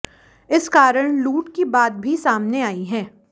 इस कारण लूट की बात भी सामने आई है